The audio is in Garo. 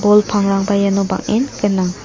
bol pangrangba iano bang·en gnang.